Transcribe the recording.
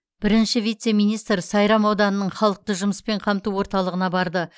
бірінші вице министр сайрам ауданының халықты жұмыспен қамту орталығына барды